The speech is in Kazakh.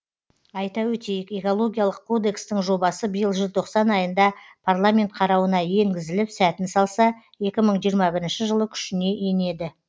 айта өтейік экологиялық кодекстің жобасы биыл желтоқсан айында парламент қарауына енгізіліп сәтін салса екі мың жиырма бірінші жылы күшіне енеді